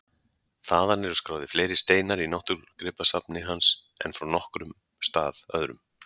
Þaðan eru skráðir fleiri steinar í náttúrugripasafni hans en frá nokkrum stað öðrum.